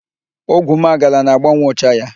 Ogwumagala na-agbanwe ụcha ya.